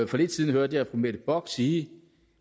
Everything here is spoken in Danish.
for lidt siden hørte jeg fru mette bock sige